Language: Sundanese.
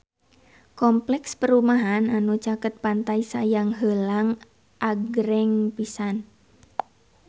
Kompleks perumahan anu caket Pantai Sayang Heulang agreng pisan